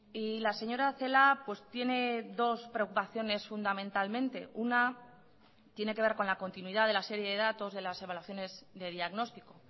y la señora celaá tiene dos preocupaciones fundamentalmente una tiene que ver con la continuidad de la serie de datos de las evaluaciones de diagnóstico